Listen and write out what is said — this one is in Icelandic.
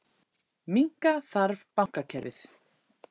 Minnka þarf bankakerfið